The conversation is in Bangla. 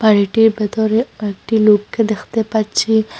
বাড়িটির ভেতরে কয়েকটি লোককে দেখতে পাচ্ছি।